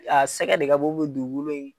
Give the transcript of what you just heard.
A sɛgɛ de ka bon dugukolo in